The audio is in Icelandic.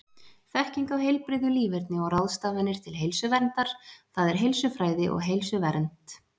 Þekking á heilbrigðu líferni og ráðstafanir til heilsuverndar, það er heilsufræði og heilsuvernd.